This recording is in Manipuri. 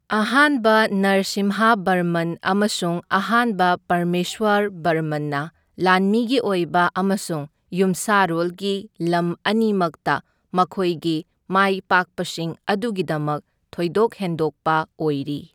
ꯑꯍꯥꯟꯕ ꯅꯔꯁꯤꯝꯍꯕꯔꯃꯟ ꯑꯃꯁꯨꯡ ꯑꯍꯥꯟꯕ ꯄꯔꯃꯦꯁꯋꯔꯕꯔꯃꯟꯅ ꯂꯥꯟꯃꯤꯒꯤ ꯑꯣꯏꯕ ꯑꯃꯁꯨꯡ ꯌꯨꯝꯁꯥꯔꯣꯜꯒꯤ ꯂꯝ ꯑꯅꯤꯃꯛꯇ ꯃꯈꯣꯏꯒꯤ ꯃꯥꯏꯄꯥꯛꯄꯁꯤꯡ ꯑꯗꯨꯒꯤꯗꯃꯛ ꯊꯣꯏꯗꯣꯛ ꯍꯦꯟꯗꯣꯛꯄ ꯑꯣꯏꯔꯤ꯫